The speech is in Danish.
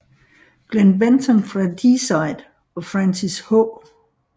Glen Benton fra Deicide og Francis H